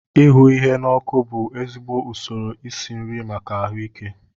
Ihu ihe na ọkụ bù ezigbo ụsoro isi nri maka ahuike